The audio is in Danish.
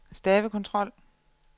stavekontrol